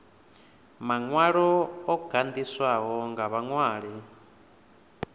maṅwalo o gandiswaho nga vhaṅwali